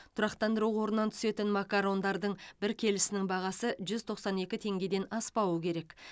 тұрақтандыру қорынан түсетін макарондардың бір килесінің бағасы жүз тоқсан екі теңгеден аспауы керек